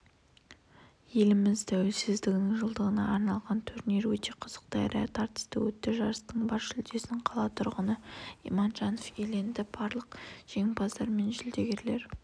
еліміз тәуелсіздігінің жылдығына арналған турнир өте қызықты әрі тартысты өтті жарыстың бас жүлдесін қала тұрғыны иманжанов иеленді барлық жеңімпаздар мен жүлдегерлер